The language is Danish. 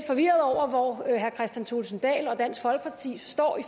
forvirret over hvor herre kristian thulesen dahl og dansk folkeparti står i